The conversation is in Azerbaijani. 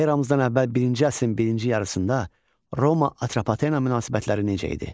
Eramızdan əvvəl birinci əsrin birinci yarısında Roma Atropatena münasibətləri necə idi?